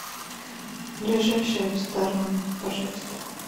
ближайшие рестораны пожалуйста